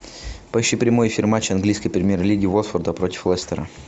поищи прямой эфир матча английской премьер лиги уотфорда против лестера